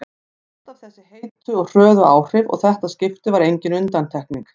Alltaf þessi heitu og hröðu áhrif og þetta skipti var engin undantekning.